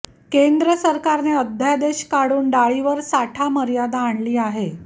केंद्र सरकारने अध्यादेश काढून डाळीवर साठा मर्यादा आणली आहे